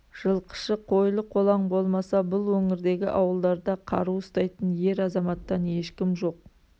жылқышы қойлы-қолаң болмаса бұл өңірдегі ауылдарда қару ұстайтын ер азаматтан ешкім жоқ